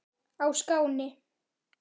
á Skáni.